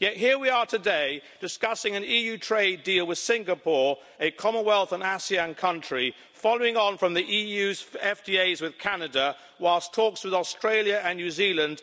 Yet here we are today discussing an EU trade deal with Singapore, a Commonwealth and ASEAN country, following on from the EU's FTA with Canada whilst talks on FTAs with Australia and New Zealand